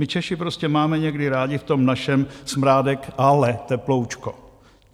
My Češi prostě máme někdy rádi v tom našem smrádek, ale teploučko."